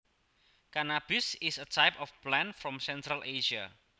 Cannabis is a type of plant from Central Asia